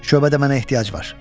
Şöbədə mənə ehtiyac var.